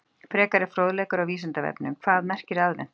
Frekari fróðleikur á Vísindavefnum: Hvað merkir aðventa?